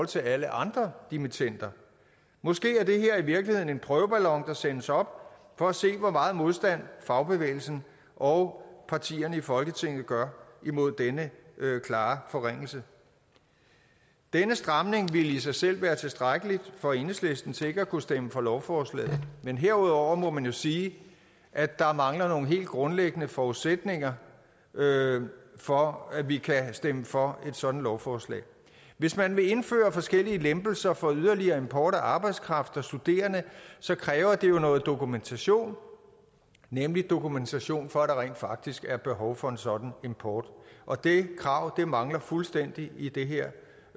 til alle andre dimittender måske er det her i virkeligheden en prøveballon der sendes op for at se hvor meget modstand fagbevægelsen og partierne i folketinget gør mod denne klare forringelse denne stramning ville i sig selv være tilstrækkelig for enhedslisten til ikke at kunne stemme for lovforslaget men herudover må man jo sige at der mangler nogle helt grundlæggende forudsætninger for at vi kan stemme for sådant lovforslag hvis man vil indføre forskellige lempelser for yderligere import af arbejdskraft og studerende så kræver det jo noget dokumentation nemlig dokumentation for at der rent faktisk er behov for en sådan import og det krav mangler fuldstændig i det her